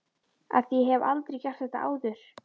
ÞVÍ AÐ ÉG HEF ALDREI GERT ÞETTA ÁÐUR!